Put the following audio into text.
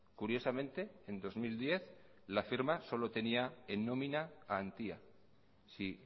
curiosamente en dos mil diez la firma solo tenía en nómina a antia si